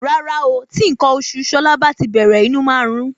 rárá o tí nkan oṣù Ṣọlá bá tí bèrè inú máa nrún